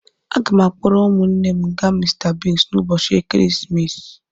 Aga m akpọrọ ụmụnne m ga Mr Biggs n'ụbọchị ekeresimesi.